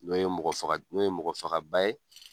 N'o ye mɔgɔ faga n'o ye mɔgɔ faga ba ye.